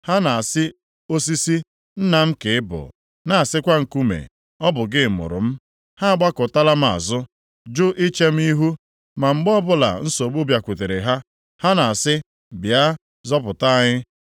Ha na-asị osisi, ‘Nna m ka ị bụ,’ na-asịkwa nkume, ‘Ọ bụ gị mụrụ m.’ Ha agbakụtala m azụ, jụ iche m ihu. Ma mgbe ọbụla nsogbu bịakwasịrị ha, ha na-asị, ‘Bịa, zọpụta anyị.’